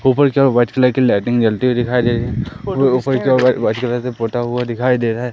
ऊपर की ओर व्हाइट कलर लाइटिंग जलती हुई दिखाई दे रही है और ऊपर की ओर व्हाइट कलर से पोता हुआ दिखाई दे रहा है।